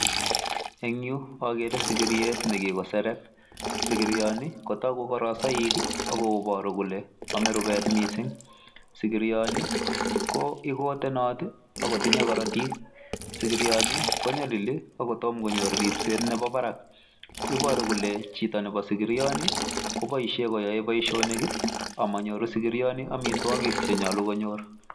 Eng yu akere sigiriet nekikosereet, sigirioni kotoogu korosoik ak kobooru kole amee rubet missing. Sigirioni ko ikotenot ak kotinye korootik, sigirioni konyolili ako tomo konyoor ribset nemi barak. Ibooru kole chito nebo sigirioni koboishien koyoe boishonik ak monyooru sigirioni amitwogiik Che nyoolu konyoor.